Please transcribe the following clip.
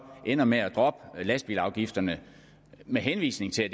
ender med at droppe lastbilsafgifterne med henvisning til at